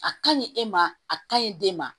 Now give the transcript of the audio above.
A ka ɲi e ma a kaɲi den ma